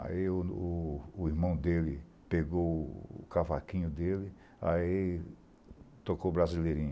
Aí o irmão dele pegou o cavaquinho dele, ai tocou o Brasileirinho.